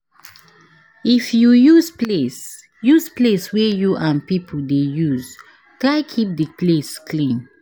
If you use place use place wey you and pipo de use try keep di place clean